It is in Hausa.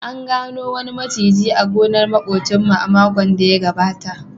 An gano maciji a gonar makwabcinmu a makon da ya gabata